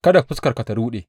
Kada fuskarka ta ruɗe!